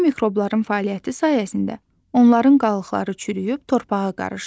Bu mikrobların fəaliyyəti sayəsində onların qalıqları çürüyüb torpağa qarışır.